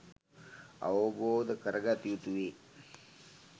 අවබෝධ කරගත යුතුවේ